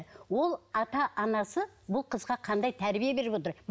ол ата анасы бұл қызға қандай тәрбие беріп отыр